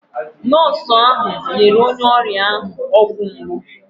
Nọọsụ ahụ nyere onye ọrịa ọgwụ mgbu.